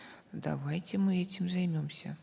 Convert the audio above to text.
давайте мы этим займемся